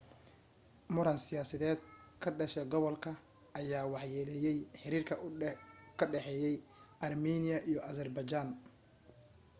muran siyaadeed ka dhashay gobolka ayaa waxyeeleeyay xiriirka ka dhexeeya armiiniya iyo azerbaijan